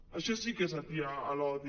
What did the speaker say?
això sí que és atiar l’odi